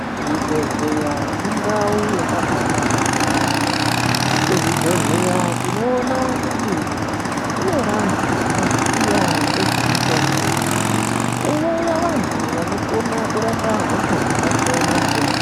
Zvibhedhleya indau yakabaanaka yaampho. Kuzvibhedhleya tinoona kuti, kune vantu vanoziya ngezvemitombo, owuya vantu vanokona kurapa hosha dzakasiyana-siyana.